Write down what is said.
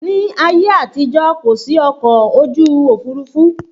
Ní ayé àtijó, kò sí ọkọ̀ ojú òfurufú